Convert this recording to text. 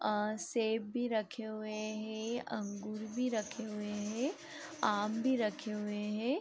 अ सेब भी रखे हुए हैं अंगूर भी रखे हुए हैं आम भी रखे हुए हैं।